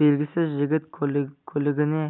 белгісіз жігіт көлігіне